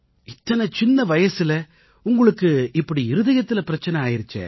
இத்தனை சின்ன வயசுல உங்களுக்கு இப்படி இருதயத்தில பிரச்சனை ஆகியிருச்சே